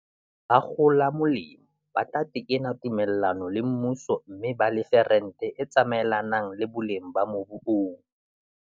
Bakgola molemo ba tla tekena tume llano le mmuso mme ba lefe rente e tsamaelanang le boleng ba mobu oo.